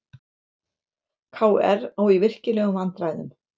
KR á í virkilegum vandræðum